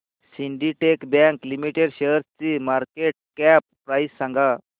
Syndicate Bank Limited शेअरची market cap price सांगा